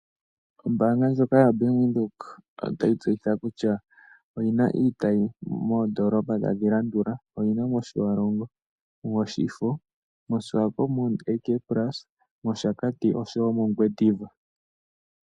Ombaanga ndjoka yaBank Windhoek otayi tseyitha kutya oyi na iitayi moondoolopa tadhi landula: oyi na mOtjiwarongo, Oshifo, moSwakopmund AK Plaza, mOshakati osho wo mOngwediva.